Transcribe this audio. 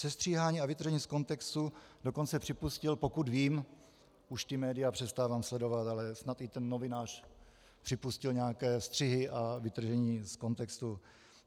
Sestříhání a vytržení z kontextu dokonce připustil, pokud vím, už ta média přestávám sledovat, ale snad i ten novinář připustil nějaké střihy a vytržení z kontextu.